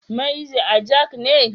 Maazi Ajang ne.